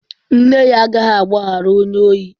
Nne ya agaghị agbaghara onye ohi.